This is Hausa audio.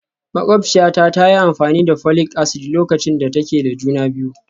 Makwabciyata ta yi amfani da folic acid lokacin da take da juna biyu